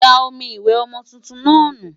Da omi ìwẹ̀ ọmọ tuntun náà nù!